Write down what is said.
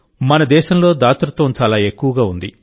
మన దేశంలోదాతృత్వం చాలా ఎక్కువగా ఉంది